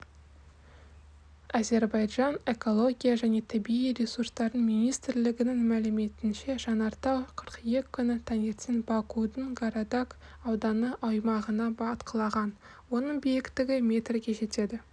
әзербайжан экология және табиғи ресурстар министрлігінің мәліметінше жанартау қыркүйек күні таңертең бакудің гарадаг ауданы аумағында атқылаған оның биіктігі метрге жетеді